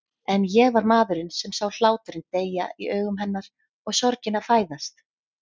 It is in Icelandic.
En ég var maðurinn sem sá hláturinn deyja í augum hennar og sorgina fæðast.